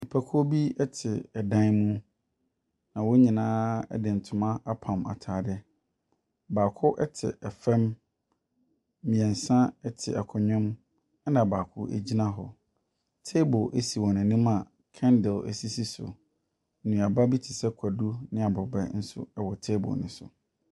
Nnipakuo bi te dan mu. Na wɔn nyinaa de ntoma apam ataadeɛ. Baako te fam. Mmiɛnsa te akonnwa mu. Ɛna baako gyina hɔ. Table si wɔn anim a kɛndle sisi so. Nuaba bi te sɛ kwadu ane abrobɛ nso wɔ table no so.